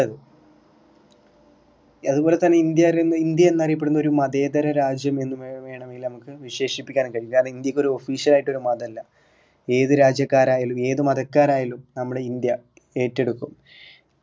അതുപോലെ തന്നെ ഇന്ത്യ അറിയുന്ന ഇന്ത്യ എന്നറിയപ്പെടുന്നത് ഒരു മതേതര രാജ്യമെന്നു വേണമെങ്കിൽ നമ്മക്ക് വിശേഷിപ്പിക്കാനും കഴിയും കാരണം ഇന്ത്യക്ക് മാത്രമായി ഒരു official ആയിട്ടൊരു മതമില്ല ഏത് രാജ്യക്കാരായാലും ഏത് മതക്കാരായാലും നമ്മുടെ ഇന്ത്യ ഏറ്റെടുക്കും